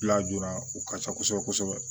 Lajɔra u ka ca kosɛbɛ kosɛbɛ